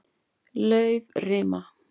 Laufrima